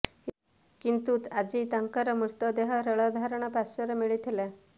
କିନ୍ତୁ ଆଜି ତାଙ୍କର ମୃତଦେହ ରେଳ ଧାରଣା ପାର୍ଶ୍ବରୁ ମିଳି ଥିଲା